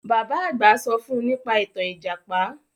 Bàbá àgbà sọ fún nípa ìtàn Ìjàpá